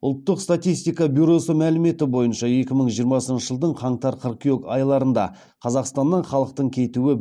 ұлттық статистика бюросы мәліметі бойынша екі мың жиырмасыншы жылдың қаңтар қыркүйек айларында қазақстаннан халықтың кетуі